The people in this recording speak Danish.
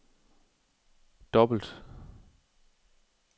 dobbelt